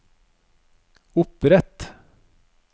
opprett